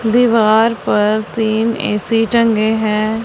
दीवार पर तीन ए_सी टंगे है।